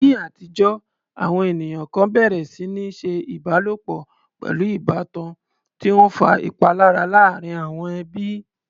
Ní àtijọ́, àwọn ènìyàn kan bẹ̀rẹ̀ sí ní ṣe ìbálòpọ̀ pẹ̀lú ìbátan, tí ó ń fa ìpalára láàárín àwọn ẹbí.